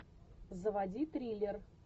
заводи триллер